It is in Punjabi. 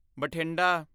ਬਠਿੰਡਾ